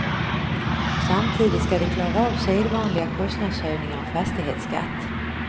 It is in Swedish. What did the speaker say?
Samtidigt skall de klara av sedvanliga kostnadshöjningar och fastighetsskatt.